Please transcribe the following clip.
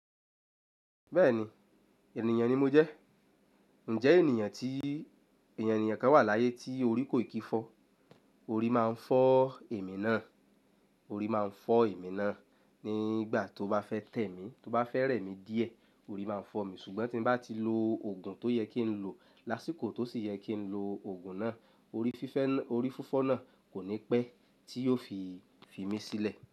Bẹ́ẹ̀ni, ènìyàn ni mo jẹ́. Ǹjẹ́ ènìyàn tí ènìyàn kan wà láyé tí orí kò ìkifọ́? Orí máa ń fọ́ èmi náà, orí máa ń fọ́ èmi náà nígbà tó bá fẹ́ tẹ̀ mí, tó bá fẹ́ rẹ̀ mí díẹ̀ orí máa ń fọ́ mi. Ṣùgbọ́n tí mo bá ti lo òògùn tó yẹ kí n lo lásìkò tó sì yẹ kí n lo òògùn náà, orí fífẹ́ náà, orí fifọ́ náà kò ní pẹ́ tí yóò fi fi mí sílẹ̀